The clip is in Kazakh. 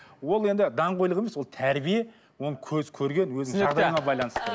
ол енді даңғойлық емес ол тәрбие оның көзі көрген байланысты